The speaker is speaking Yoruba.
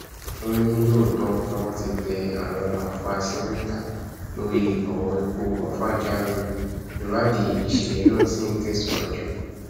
ó ní lóòótọ lowó ti tẹ àwọn afurasí mẹta lórí ọrọ ikú àfàà jamiu ìwádìí ìṣẹlẹ náà ṣì ń tẹsíwájú